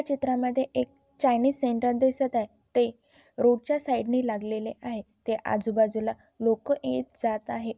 चित्रा मध्ये एक Chinese centre दिसत आहे ते रोडच्या साइडने लागलेले आहे ते आजू-बाजूला लोक येत जात आहेत.